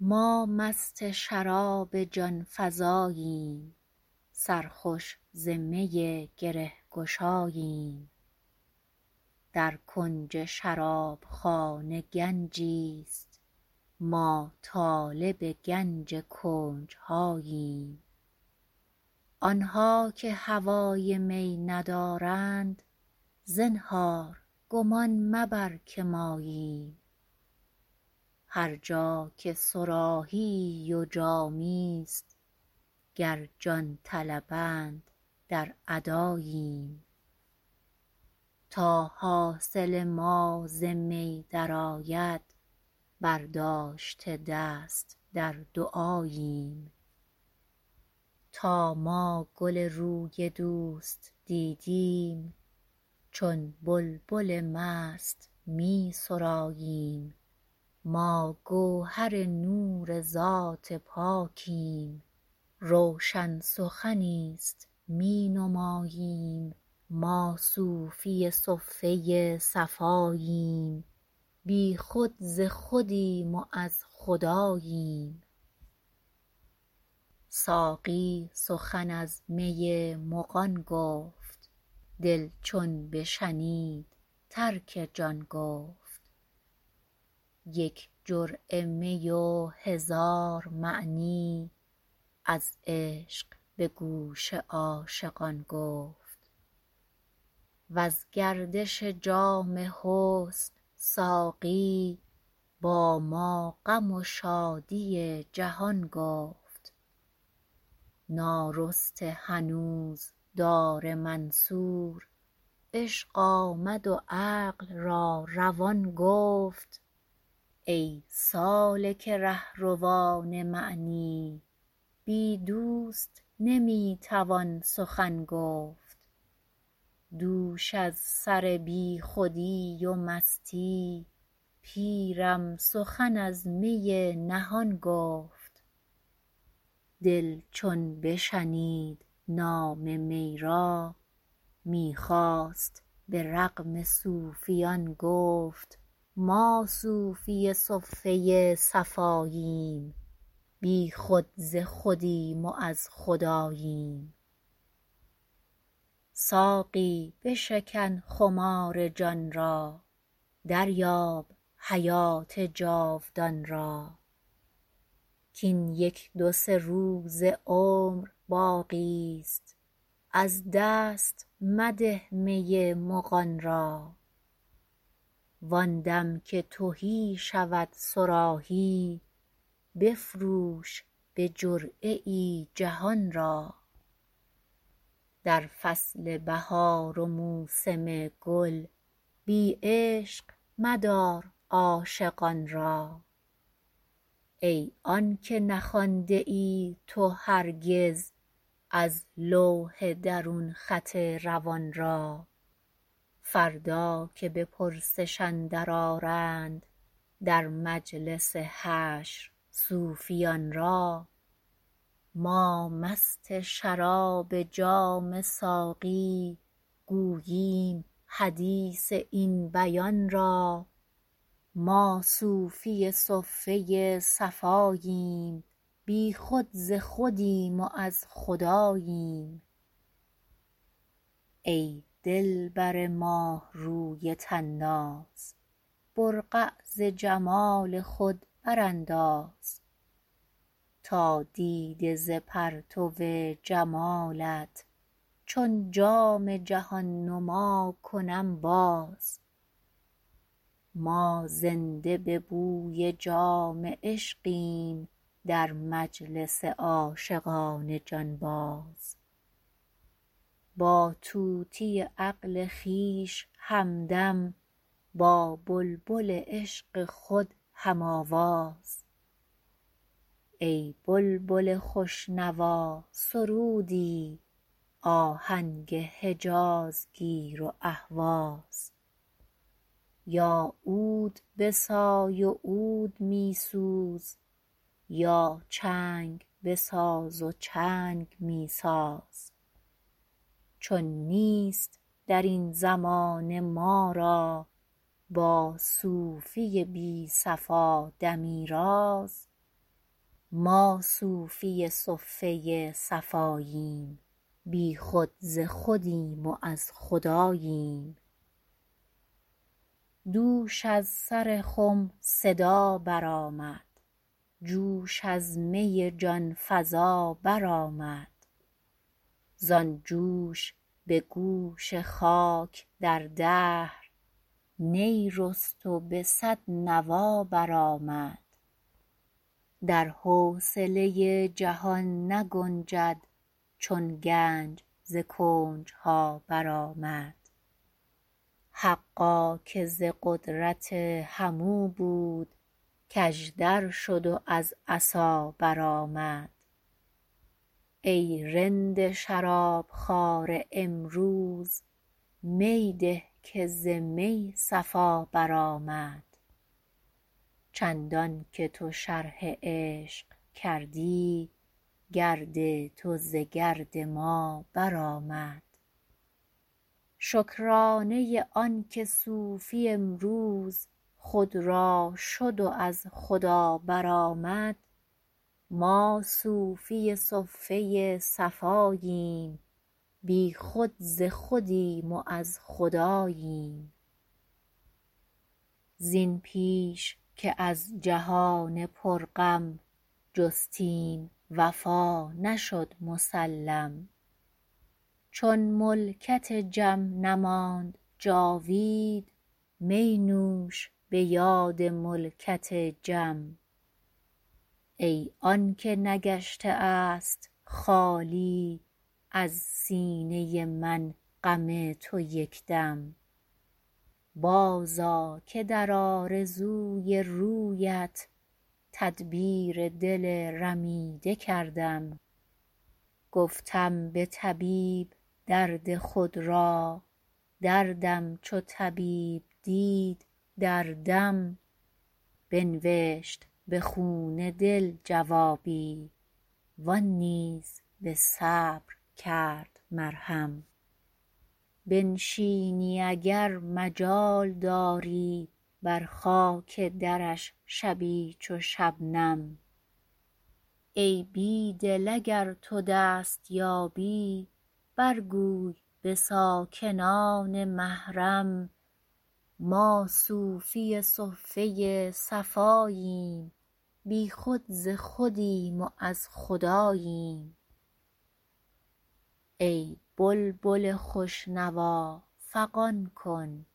ما مست شراب جان فزاییم سرخوش ز می گره گشاییم در کنج شرابخانه گنجی است ما طالب گنج کنجهاییم آنها که هوای می ندارند زنهار گمان مبر که ماییم هر جا که صراحیی ز جامی است گر جان طلبد درآ درآییم تا حاصل ما ز می درآید برداشته دست در دعاییم تا ما گل روی دوست دیدیم چون بلبل مست می سراییم ما گوهر نور ذات پاکیم روشن سخنی است می نماییم ما صوفی صفه صفاییم بی خود ز خودیم و از خداییم ساقی سخن از می مغان گفت دل چون بشنید ترک جان گفت یک جرعه می و هزار معنی از عشق به گوش عاشقان گفت وز گردش جام حسن ساقی با ما غم و شادی جهان گفت نارسته هنوز دار منصور عشق آمد و عقل را روان گفت دوش از سر بی خودی و مستی پیرم سخن از می نهان گفت دل چون بشنید نام می را می خواست به رغم صوفیان گفت ما صوفی صفه صفاییم بی خود ز خودیم و از خداییم ساقی بشکن خمار جان را دریاب حیات جاودان را کین یک دوسه روز عمر باقی است از دست مده می مغان را وان دم که تهی شود صراحی بفروش به جرعه ای جهان را در فصل بهار و موسم گل بی عشق مدار عاشقان را ای آنکه نخوانده ای تو هرگز از لوح درون خط روان را فردا که بپرسش اندر آرند در مجلس حشر صوفیان را ما مست شراب جام ساقی گوییم حدیث این بیان را ما صوفی صفه صفاییم بی خود ز خودیم و از خداییم ای دلبر ماهروی طناز برقع ز جمال خود برانداز تا دیده ز پرتو جمالت چون جام جهان نما کنم باز ما زنده به بوی جام عشقیم در مجلس عاشقان جانباز با طوطی عقل خویش همدم با بلبل عشق خود هم آواز ای بلبل خوش نوا سرودی آهنگ حجاز گیر و اهواز با عود بسای عود می سوز با چنگ بساز و چنگ می ساز چون نیست درین زمانه ما را با صوفی بی صفا دمی راز ما صوفی صفه صفاییم بی خود ز خودیم و از خداییم دوش از سر خم صدا برآمد جوش از می جانفزا برآمد زان جوش به گوش خاک در دهر نی رست و به صد نوا برآمد در حوصله جهان نگنجد چون گنج ز کنجها برآمد حقا که ز قدرت همو بود کاژدر شد و از عصا برآمد ای رند شراب خواره امروز می ده که ز می صفا برآمد چندان که تو شرح عشق کردی گرد تو ز گرد ما برآمد شکرانه آنکه صوفی امروز خود را شد و از خدا برآمد ما صوفی صفه صفاییم بی خود ز خودیم و از خداییم زین پیش که از جهان پرغم جستیم وفا نشد مسلم چون ملکت جم نماند جاوید می نوش به یاد ملکت جم ای آنکه نگشته است خالی از سینه من غم تو یکدم بازآ که در آرزوی رویت تدبیر دل رمیده کردم گفتم به طبیب درد خود را دردم چو طبیب دید در دم بنوشت به خون دل جوابی وان نیز به صبر کرد مرهم بنشینی اگر مجال داری بر خاک درش شبی چو شبنم ای بیدل اگر تو دست یابی برگوی به ساکنان محرم ما صوفی صفه صفاییم بی خود ز خودیم و از خداییم ای بلبل خوشنوا فغان کن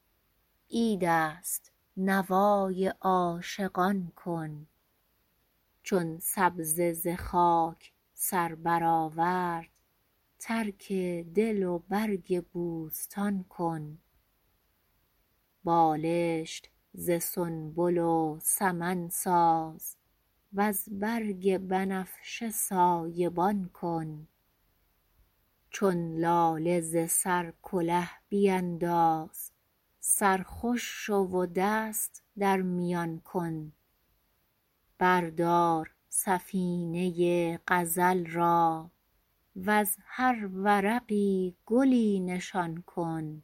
عید است نوای عاشقان کن چون سبزه ز خاک سر برآورد ترک دل و برگ بوستان کن بالشت ز سنبل و سمن ساز وز برگ بنفشه سایبان کن چون لاله ز سر کله بینداز سرخوش شو و دست در میان کن بردار سفینه غزل را وز هر ورقی گلی نشان کن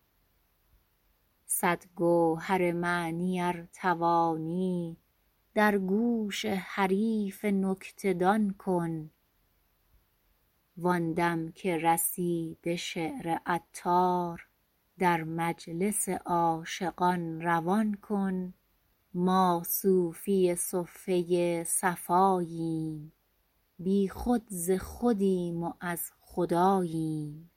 صد گوهر معنی ار توانی در گوش حریف نکته دان کن وان دم که رسی به شعر عطار در مجلس عاشقان روان کن ما صوفی صفه صفاییم بی خود ز خودیم و از خداییم